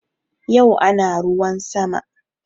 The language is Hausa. Yau ana ruwan sama